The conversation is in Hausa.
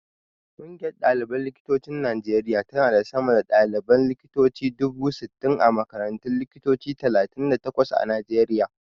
Ƙungiyar ɗaliban likitocin Najeriya tana da sama da ɗaliban likitoci dubu sittin a makarantun likitoci talatin da takwas a Najeriya.